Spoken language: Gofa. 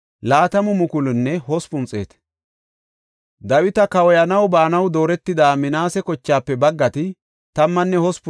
Dawita kawoyanaw baanaw dooretida Minaase kochaafe baggati 18,000.